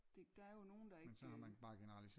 Det der er jo nogle der ikke